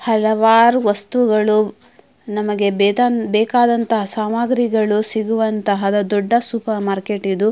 ಹಲವಾರು ವಸ್ತುಗಳು ನಮಗೆ ಬೇತಾನ್ ಬೇಕಾದಂತಹ ಸಾಮಾಗ್ರಿಗಳು ಸಿಗುವಂತಹ ದೊಡ್ಡ ಸೂಪರ್ ಮಾರ್ಕೆಟ್ ಇದು.